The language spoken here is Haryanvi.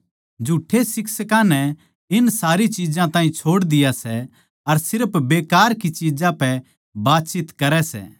झुठ्ठे शिक्षकां नै इन सारी चिज्जां ताहीं छोड़ दिया सै अर सिर्फ बेकार की चिज्जां पै बातचीत करै सै